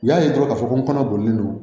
U y'a ye dɔrɔn k'a fɔ ko n kɔnɔ boli n